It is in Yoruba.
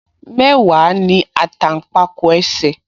Mẹ́wàá ní àtàǹpàkò ẹsẹ̀